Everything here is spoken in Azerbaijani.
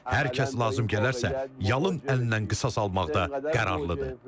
Hər kəs lazım gələrsə, yalın əllərlə qisas almaqda qərarlıdır.